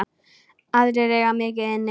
Aðrir eiga mikið inni.